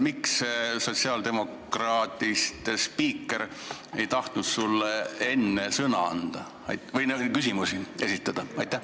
Miks sotsiaaldemokraadist spiiker ei tahtnud sulle enne sõna anda või lasta sulle küsimusi esitada?